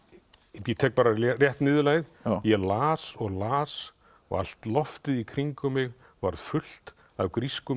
ég tek bara rétt niðurlagið ég las og las og allt loftið í kringum mig varð fullt af grískum